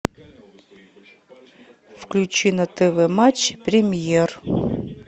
включи на тв матч премьер